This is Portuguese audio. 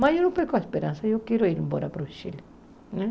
Mas eu não pego a esperança, eu quero ir embora para o Chile, né?